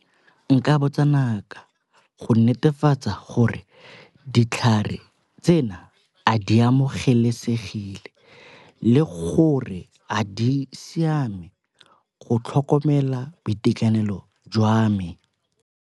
Nka botsa ngaka go netefatsa gore ditlhare tsena a di amogelesegile le gore a di siame go tlhokomela boitekanelo jwa me.